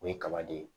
O ye kaba de ye